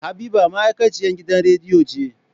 Habiba ma'aikaciyan gidan radiyo ce.